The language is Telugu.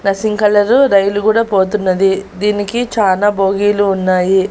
నస్సిం కలర్ రైలు కూడా పోతున్నది దీనికి చానా బోగీలు ఉన్నాయి.